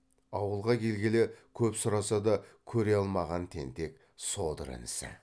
ауылға келгелі көп сұраса да көре алмаған тентек содыр інісі